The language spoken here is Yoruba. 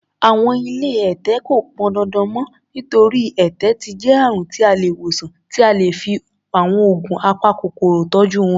Àwọn ilé ẹ̀tẹ̀ kò pọndandan mọ́, nítorí, ẹ̀tẹ̀ ti jẹ́ àrùn tí a lè wòsàn tí a lè fi àwọn oògùn apakòkòrò tọ́jú wọn.